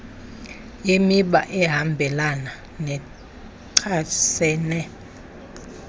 yemiba ehambelana nechasene